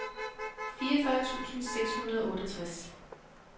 fireogfyrre tusind seks hundrede og otteogtres